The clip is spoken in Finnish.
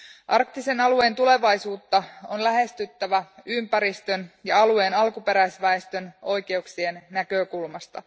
Arktisen alueen tulevaisuutta on lähestyttävä ympäristön ja alueen alkuperäisväestön oikeuksien näkökulmasta.